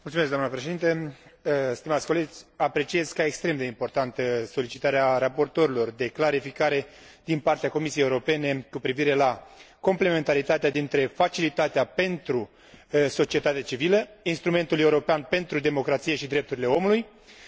Apreciez ca extrem de importantă solicitarea raportorilor de a primi clarificări, din partea Comisiei Europene, cu privire la complementaritatea dintre Facilitatea pentru societatea civilă, Instrumentul european pentru democrație și drepturile omului și Instrumentul european pentru vecinătate.